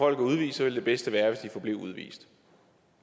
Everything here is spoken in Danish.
er udvist ville det bedste være hvis de forblev udvist